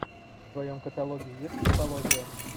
в твоем каталоге есть мифология